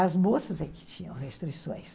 As moças é que tinham restrições.